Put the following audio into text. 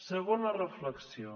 segona reflexió